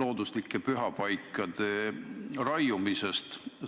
looduslikes pühapaikades tehtud raiumise peale.